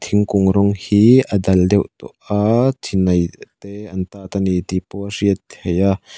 thingkung rawng hi a dal deuh tawh a chinai te an tat ani tihpawh a hriat theih a.